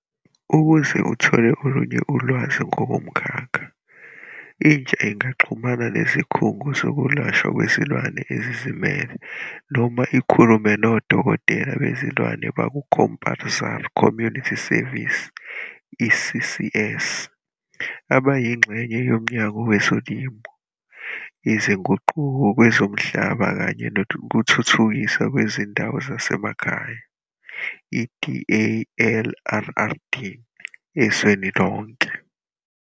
Ukuze uthole olunye ulwazi ngomkhakha, intsha ingaxhumana nezikhungo zokwelashwa kwezilwane ezizimele noma ikhulume nodokotela bezilwane baku-compulsory community service, i-CCS, abayingxenye yoMnyango Wezolimo, Izinguquko Kwezomhlaba kanye Nokuthuthukiswa Kwezindawo Zasemakhaya, i-DALRRD, ezweni lonke.